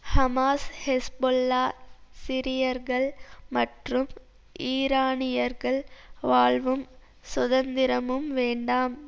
Hamas Hezbollah சிரியர்கள் மற்றும் ஈரானியர்கள் வாழ்வும் சுதந்திரமும் வேண்டாம்